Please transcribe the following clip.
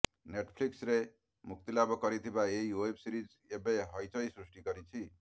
ନେଟଫ୍ଲିକ୍ସରେ ମୁକ୍ତିଲାଭ କରିଥିବା ଏହି ଓ୍ବେବ୍ ସିରିଜ ଏବେ ହଇଚଇ ସୃଷ୍ଟି କରିଛି